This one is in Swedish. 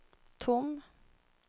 tom